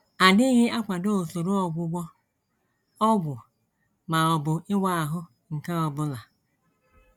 adịghị akwado usoro ọgwụgwọ, ọgwụ, ma ọ bụ ịwa ahụ nke ọ bụla.